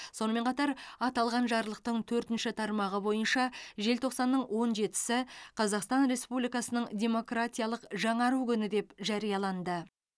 сонымен қатар аталған жарлықтың төртінші тармағы бойынша желтоқсанның он жетісі қазақстан республикасының демократиялық жаңару күні деп жарияланды